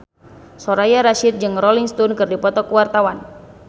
Soraya Rasyid jeung Rolling Stone keur dipoto ku wartawan